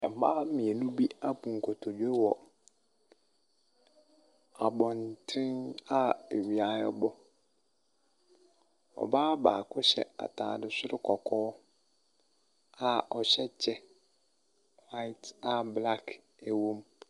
Mmaa mmienu bi abu nkotodwe wɔ abɔnten a awia ɛbɔ. Ɔbaa baako hyɛ ataade soro kɔkɔɔ a ɔhyɛ kyɛ hwaet a blak ɛwom.